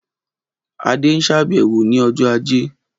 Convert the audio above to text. Adé ṣàbẹ̀wò ní ọjọ́ ajé